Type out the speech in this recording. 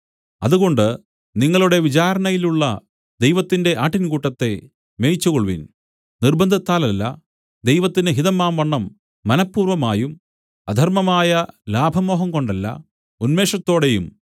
അതുകൊണ്ട് നിങ്ങളുടെ വിചാരണയിലുള്ള ദൈവത്തിന്റെ ആട്ടിൻകൂട്ടത്തെ മേയിച്ചുകൊൾവിൻ നിർബ്ബന്ധത്താലല്ല ദൈവത്തിന് ഹിതമാംവണ്ണം മനഃപൂർവ്വമായും അധർമ്മമായ ലാഭമോഹംകൊണ്ടല്ല ഉന്മേഷത്തോടെയും